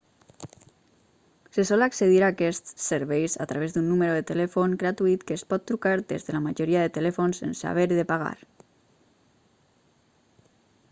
se sol accedir a quests serveis a través d'un número de telèfon gratuït que es pot trucar des de la majoria de telèfons sense haver de pagar